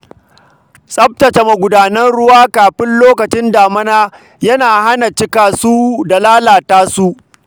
Tsaftace magudanan ruwa kafin lokacin damina yana hana ruwa cika su da lalata su.